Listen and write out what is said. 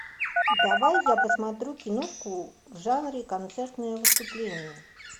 давай я посмотрю киношку в жанре концертное выступление